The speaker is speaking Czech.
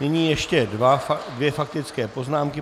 Nyní ještě dvě faktické poznámky.